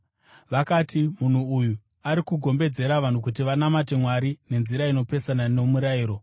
Vakati, “Munhu uyu, ari kugombedzera vanhu kuti vanamate Mwari nenzira inopesana nomurayiro.”